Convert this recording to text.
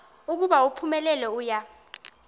ukuba uphumelele uya